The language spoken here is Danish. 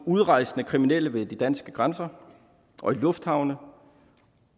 udrejsende kriminelle ved de danske grænser og i lufthavne